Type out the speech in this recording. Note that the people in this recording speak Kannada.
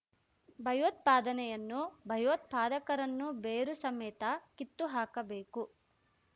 ಭಯೋತ್ಪಾದನೆಯನ್ನು ಭಯೋತ್ಪಾದಕರನ್ನು ಬೇರು ಸಮೇತ ಕಿತ್ತು ಹಾಕಬೇಕು